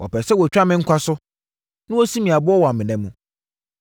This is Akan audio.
Wɔpɛɛ sɛ wɔtwa me nkwa so na wɔsi me aboɔ wɔ amena mu;